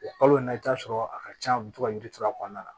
O kalo in na i bi taa sɔrɔ a ka can a bɛ to ka yiri turu a kɔnɔna na